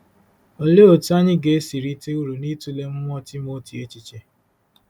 Olee otú anyị ga-esi rite uru n’ịtụle mmụọ Timoti echiche?